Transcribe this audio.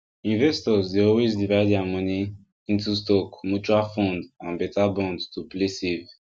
investors dey always divide their money into stock mutual fund and better bond to play safe